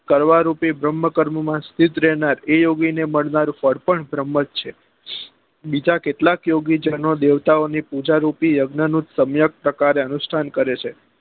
કરવા રૂપી ભ્ર્મ્હ કર્મો માં સ્થીત રહેનાર એ યોગી ને મળનાર ફળ પણ ભ્રમ જ છે બીજા કેટલાય યોગી છે દેવતા ઓ ની પૂજા રૂપી યજ્ઞ નું સમ્યક ટકા નું અનુષ્ટાન કરે છે